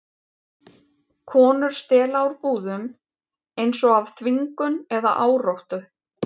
Konur stela úr búðum, eins og af þvingun eða áráttu.